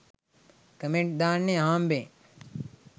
comment දාන්නෙ අහම්බෙන්